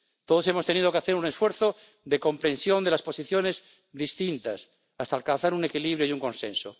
Todos hemos tenido que hacer un esfuerzo de comprensión de las posiciones distintas hasta alcanzar un equilibrio y un consenso.